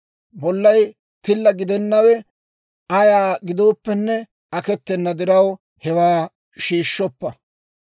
Bollay tilla gidennawe ayaa gidooppenne aketena diraw, hewaa shiishshoppa.